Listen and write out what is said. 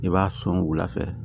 I b'a sɔn wula fɛ